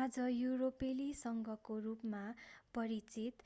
आज युरोपेली संघको रूपमा परिचित